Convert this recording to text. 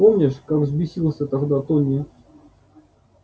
помнишь как взбесился тогда тони